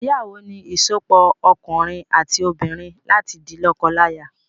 Ìgbéyàwó ni ìsopọ̀ òkunrin àti obìnrin láti di lọ́kọlaya